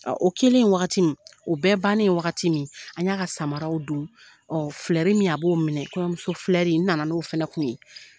O kɛlen wagati min o bɛɛ bannen wagati min an y'a ka samaraw don ɔ filɛri min a b'o minɛ kɔɲɔmusofilɛri nana n'o fana kun ye